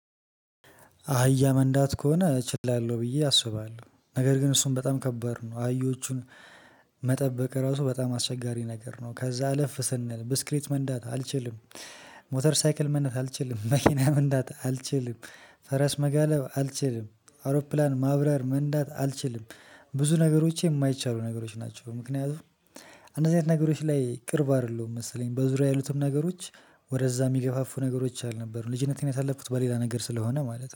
አህያ መንዳት ከሆነ እችላለሁ ብዬ አስባለሁ ነገር ግን እሱን በጣም ከባድ ነው አህዬቹን። ራሱ በጣም አስቸጋሪ ነገር ነው። ከዛ አለፍ ስንል ብስክሌት መንዳት አልችልም። ሞተር ሳይክል መንዳት አልችልም መኪና መንዳአ ልችልም። ፈረስ መጋለብ አልችልም አውሮፕላን ማብራር መንዳት አልችልም። ብዙ ነገሮች የማይቻሉ ነገሮች ናቸው ምክንያቱም። አንዳንድ ነገሮች ላይ ቅርብ አይደለሁም መሰለኝ በዙሪያዬ ያሉትን ነገሮች ወደዛ የሚገፋፉ ነገሮች አልነበሩም ልጅነቴን ያሳለፍኩት በሌላ ነገር ስለሆነ ማለት ነው